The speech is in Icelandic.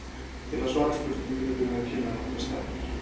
Til að svara spurningunni þurfum við að kynna nokkrar staðreyndir.